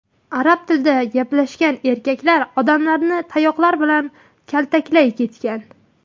Arab tilida gaplashgan erkaklar odamlarni tayoqlar bilan kaltaklay ketgan.